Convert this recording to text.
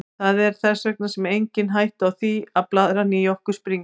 Það er þess vegna engin hætta á því að blaðran í okkur springi.